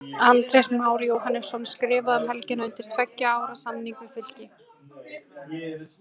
Andrés Már Jóhannesson skrifaði um helgina undir tveggja ára samning við Fylki.